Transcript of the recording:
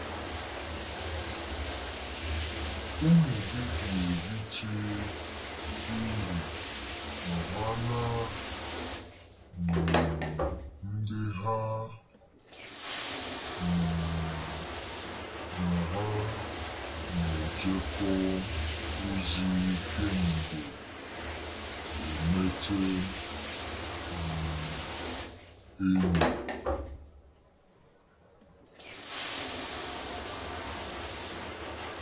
Ụmụ gị ga-erite uru ma ha na um ndị ha um na ha na-ejekọ ozi kemgbe emete um enyi